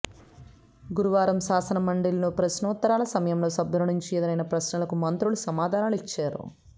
గురువారం శాసనమండలిలో ప్రశ్నోత్తరాల సమయంలో సభ్యులనుంచి ఎదురైన ప్రశ్నలకు మంత్రులు సమాధానలిచ్చారు